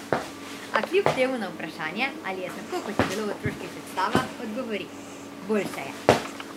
A kljub temu na vprašanje, ali je tako, kot je bilo v otroških predstavah, odgovori: "Boljše je".